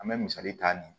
An bɛ misali ta nin